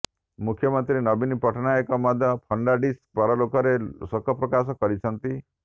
ମୁଖ୍ୟମନ୍ତ୍ରୀ ନବୀନ ପଟ୍ଟନାୟକ ମଧ୍ୟ ଫର୍ଣ୍ଣାଡିସ୍ଙ୍କ ପରଲୋକରେ ଶୋକ ପ୍ରକାଶ କରିଛନ୍ତି